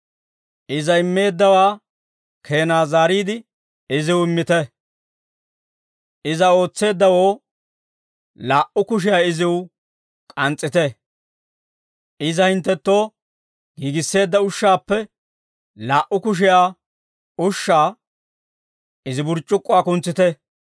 Iza immeeddawaa keenaa zaariide, iziw immite. Iza ootseeddawoo, laa"u kushiyaa iziw k'ans's'ite. Iza hinttenttoo giigisseedda ushshaappe, laa"u kushiyaa ushshaa, izi burc'c'ukkuwaa kuntsite.